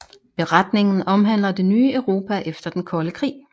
Beretningen omhandler det nye Europa efter den kolde krig